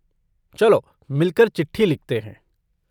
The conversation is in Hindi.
चलो मिलकर चिट्ठी लिखते हैं।